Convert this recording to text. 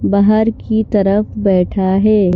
बाहर की तरफ बैठा है।